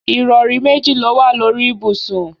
Ìrọrí méjì lówà lórí ibùsùn.